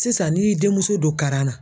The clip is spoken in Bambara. Sisan ni y'i denmuso don kara na.